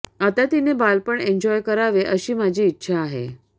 आता तिने बालपण एन्जॉय करावे अशी माझी इच्छा आहे